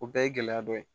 O bɛɛ ye gɛlɛya dɔ ye